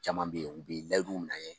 Caman bɛ yen u bɛ layiduw minɛ an ye